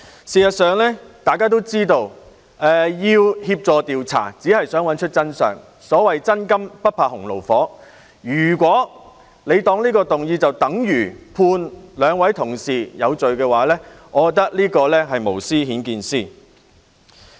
事實上，大家都知道，協助調查只是想找出真相，所謂"真金不怕洪爐火"，如果他們把這項議案視為等於判兩位同事有罪，我認為這是無私顯見私。